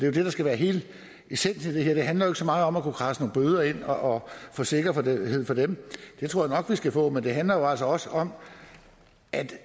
jo det der skal være hele essensen i det her det handler jo ikke så meget om at kradse nogle bøder ind og få sikkerhed for dem det tror jeg vi skal få men det handler altså også om at